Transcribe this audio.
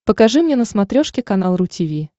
покажи мне на смотрешке канал ру ти ви